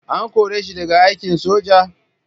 An kore shi daga aikin soja?